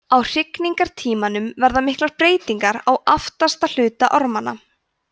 á hrygningartímanum verða miklar breytingar á aftasti hluta ormanna